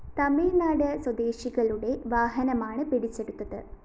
തമിഴ്‌നാട് സ്വദേശികളുടെ വാഹനമാണ് പിടിച്ചെടുത്തത്